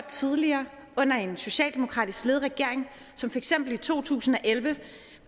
tidligere under en socialdemokratisk ledet regering som for eksempel i to tusind og elleve